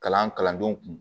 Kalan kalandenw kun